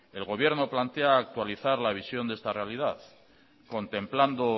el gobierno plantea actualizar la visión de esta realidad contemplando